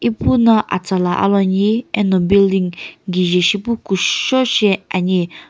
ipuno atsala aloani eno building kije shipu kushou shi ani.